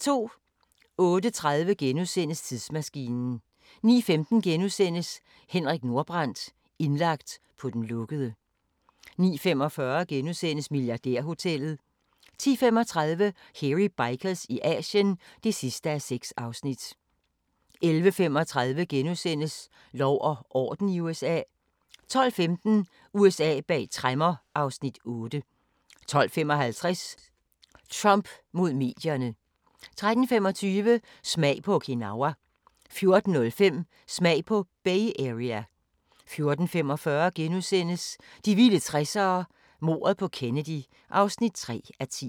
08:30: Tidsmaskinen * 09:15: Henrik Nordbrandt – indlagt på den lukkede * 09:45: Milliardærhotellet * 10:35: Hairy Bikers i Asien (6:6) 11:35: Lov og orden i USA * 12:15: USA bag tremmer (Afs. 8) 12:55: Trump mod medierne 13:25: Smag på Okinawa 14:05: Smag på Bay Area 14:45: De vilde 60'ere: Mordet på Kennedy (3:10)*